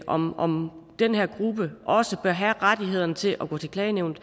om om den her gruppe også bør have rettighederne til at gå til klagenævnet